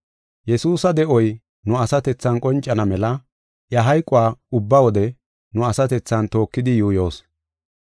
Yesuusa de7oy nu asatethan qoncana mela iya hayquwa ubba wode nu asatethan tookidi yuuyoos.